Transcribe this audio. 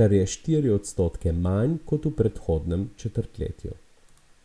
kar je štiri odstotke manj kot v predhodnem četrtletju.